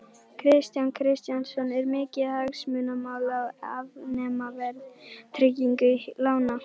Kristján Kristjánsson: Er mikið hagsmunamál að afnema verðtryggingu lána?